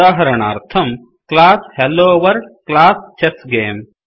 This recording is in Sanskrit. उदाहरणार्थम् क्लास हेलोवर्ल्ड क्लास चेस्स्गमे